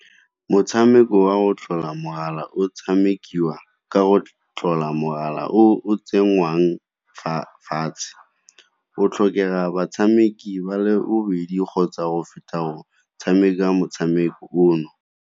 Motshameko wa o tlola mogala o tshamekiwa ka go tlola mogala o tsenngwang fatshe, o tlhokega batshameki ba le bobedi kgotsa go feta go tshameka motshameko ono.